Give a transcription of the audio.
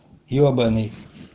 ебанный